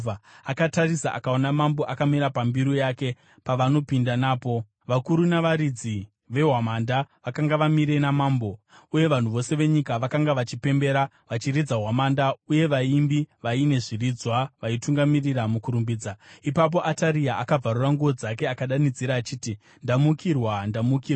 Akatarisa, akaona mambo akamira pambiru yake pavanopinda napo. Vakuru navaridzi vehwamanda vakanga vamire namambo. Uye vanhu vose venyika vakanga vachipembera vachiridza hwamanda uye vaimbi vaine zviridzwa vaitungamirira mukurumbidza. Ipapo Ataria akabvarura nguo dzake akadanidzira achiti, “Ndamukirwa! Ndamukirwa!”